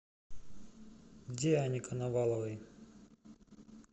диане коноваловой